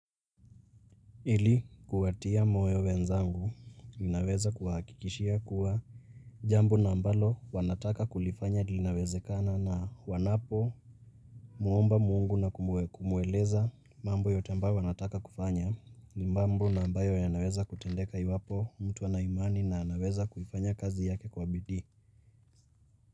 Ili kuwatia moyo wenzangu, ninaweza kuwahakikishia kuwa jambo na ambalo wanataka kulifanya linawezekana na wanapomwomba mungu na kumueleza mambo yote ambayo wanataka kufanya. Ni mambo na ambayo yanaweza kutendeka iwapo mtu ana imani na anaweza kufanya kazi yake kwa bidii.